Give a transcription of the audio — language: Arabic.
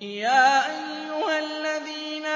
يَا أَيُّهَا الَّذِينَ